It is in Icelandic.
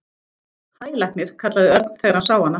Hæ, læknir kallaði Örn þegar hann sá hana.